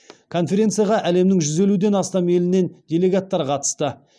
конференцияға әлемнің жүз елуден астам елінен делегаттар қатысты